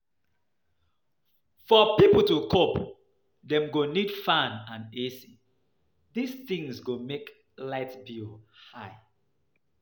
For pipo to cope, dem go need fan and ac, this things go make light bill high